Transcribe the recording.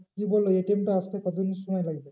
কি বললো ATM টা আসতে কতদিন সময় লাগবে?